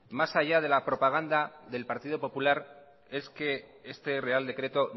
más allá de la propaganda del partido popular es que este real decreto